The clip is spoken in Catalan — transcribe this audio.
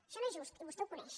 això no és just i vostè ho coneix